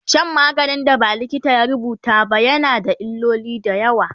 Shan maganin da ba likita ya rubuta ba na yana da illoli da yawa